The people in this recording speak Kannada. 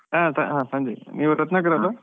ಹಾ ಹಾ ಸಂಜಯ್, ನೀವು ರತ್ನಾಕರ್ ಅಲ್ಲಾ.